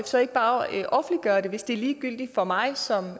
så ikke bare offentliggøre det hvis det er ligegyldigt for mig som